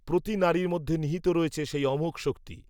প্রতি নারীর মধ্যে নিহিত রয়েছে সেই অমোঘ শক্তি